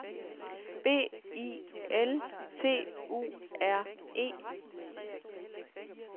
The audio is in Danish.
B I L T U R E